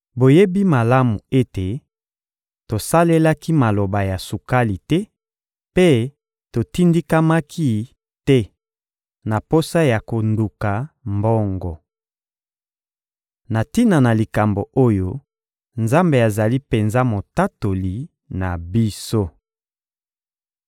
Boyebi malamu ete tosalelaki maloba ya sukali te mpe totindikamaki te na posa ya konduka mbongo. Na tina na likambo oyo, Nzambe azali penza Motatoli na biso.